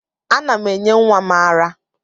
Ana m enye nwa m ara